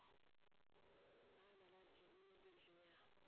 ஆஹ் நல்லாருக்கேன் நீங்க எப்படி இருக்கீங்க